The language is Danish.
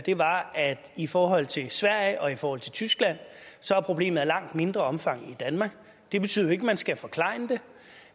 i forhold til sverige og i forhold til tyskland er problemet af langt mindre omfang i danmark det betyder ikke at man skal forklejne det